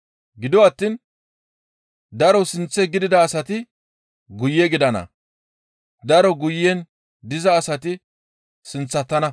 Gido attiin daro sinththe gidida asati guye gidana; daro guyen diza asati sinththatana.